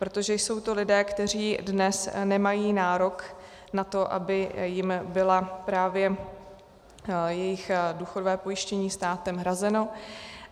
Protože jsou to lidé, kteří dnes nemají nárok na to, aby jim bylo právě jejich důchodové pojištění státem hrazeno.